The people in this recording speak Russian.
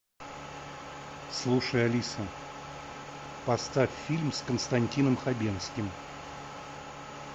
слушай алиса поставь фильм с константином хабенским